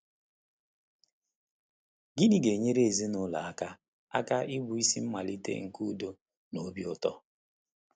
Gịnị ga-enyere ndụ ezinụlọ aka aka ịbụ isi mmalite nke udo na obi ụtọ?